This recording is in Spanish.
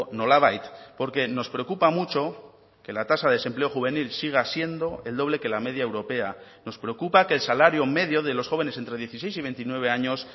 nolabait porque nos preocupa mucho que la tasa de desempleo juvenil siga siendo el doble que la media europea nos preocupa que el salario medio de los jóvenes entre dieciséis y veintinueve años